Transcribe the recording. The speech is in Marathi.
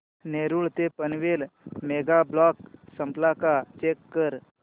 नेरूळ ते पनवेल मेगा ब्लॉक संपला का चेक कर